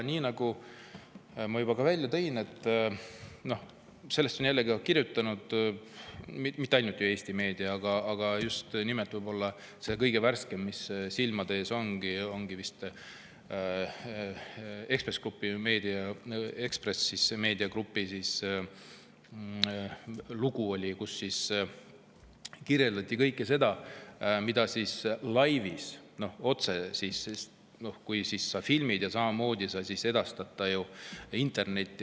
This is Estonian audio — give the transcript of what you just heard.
Nii nagu ma juba ka välja tõin, sellest on kirjutanud mitte ainult ju Eesti meedia, aga võib-olla see kõige värskem lugu, mis silmade ees on, ongi vist see Ekspress Grupi lugu, kus kirjeldati kõike seda, mida laivis tehakse, kui filmitakse ja otsekohe edastatakse see internetti.